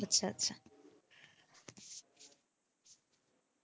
আচ্ছা আচ্ছা।